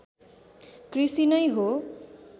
कृषि नै हो